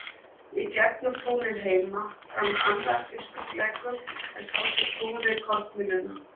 Í gegnum túnið heima rann annar uppsprettulækur en sá sem knúði kornmylluna.